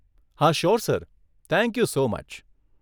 હા, sure sir, thank you so much.